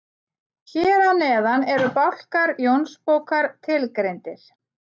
Hér að neðan eru bálkar Jónsbókar tilgreindir.